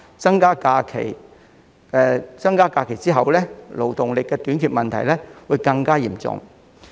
在增加假期後，勞動力短缺的問題將會惡化。